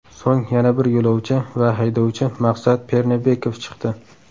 So‘ng yana bir yo‘lovchi va haydovchi Maqsad Pernebekov chiqdi.